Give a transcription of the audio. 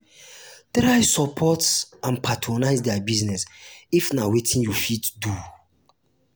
try support and patronise their business if na wetin you fit do